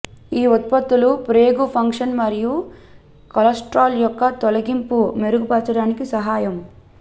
ఈ ఉత్పత్తులు ప్రేగు ఫంక్షన్ మరియు కొలెస్ట్రాల్ యొక్క తొలగింపు మెరుగుపరచడానికి సహాయం